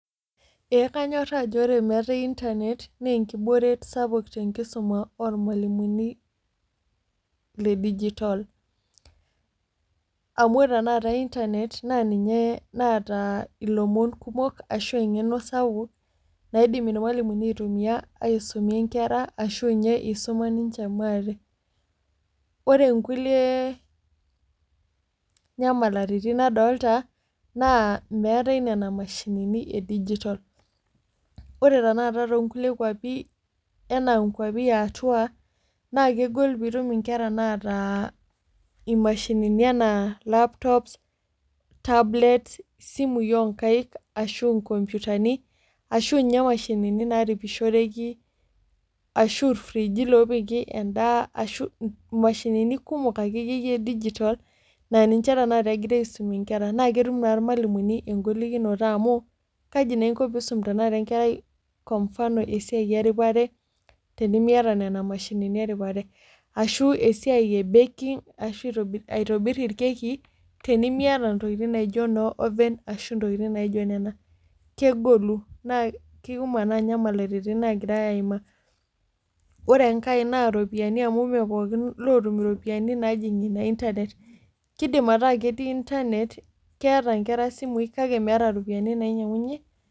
ee kanyoraa ajo ore metae inernet naa enkibooret sapuk te nkisuma oo rmalimuni le digital amu ore tenakata internet naa ninye naata ilomon kumok asahu engeno sapuk naiim irmalimuni aitumia ashu aisumie nkera ashu isuma ninche maate. ore nkulie nyamalitin nadolta naa meetae nena mashinini e digita ore tenakta too nkulie kuapi anaa nkuapi yaatau naa kegol piitum nkera naata mashinini ana laptops, tablets isimui oonkaik anaa nkompiutani, ashu ninye mashinini naaisujuoreki ashu irfriiiji oopiki edaaa, ashu imashinini kumok oleng e digital naa ninche tenakata egirae aisumie nkere. naa ketum taa irmalimuni egolikinoto amu kaji na inko pee iisum enkerai kwa mfano esiai eripare tenimiata, nena mashinini eipare. ashu esiai e benki ashu aitobir inkekii tenimiata ntokitin naijo no oven ashu intokitin naijo nena. kegolu na kikumok tenakata nyamalitin nagirae aimaa. ore enkae na iropiyiani amu ime pookingae otum iropiyiani naijing'ie internet kidima taa ketii internet keeta nkera simui kake metum iropyiani nainyiang'unye.